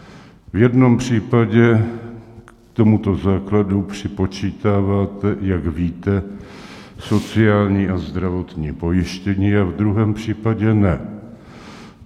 V jednom případě k tomuto základu připočítáváte, jak víte, sociální a zdravotní pojištění a v druhém případě ne.